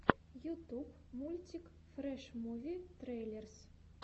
ютуб мультик фрэш муви трейлерс